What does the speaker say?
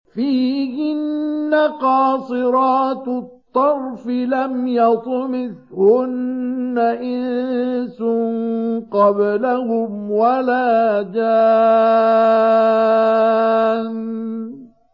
فِيهِنَّ قَاصِرَاتُ الطَّرْفِ لَمْ يَطْمِثْهُنَّ إِنسٌ قَبْلَهُمْ وَلَا جَانٌّ